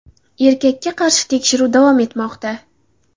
Erkakka qarshi tekshiruv davom etmoqda.